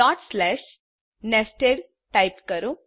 dot slash nested type કરો